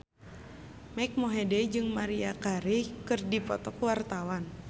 Mike Mohede jeung Maria Carey keur dipoto ku wartawan